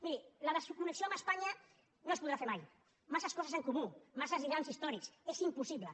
miri la desconnexió amb espanya no es podrà fer mai massa coses en comú massa lligams històrics és impossible